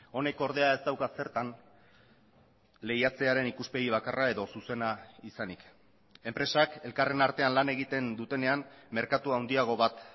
honek ordea ez dauka zertan lehiatzearen ikuspegi bakarra edo zuzena izanik enpresak elkarren artean lan egiten dutenean merkatu handiago bat